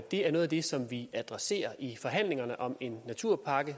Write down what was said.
det er noget af det som vi adresserer i forhandlingerne om en naturpakke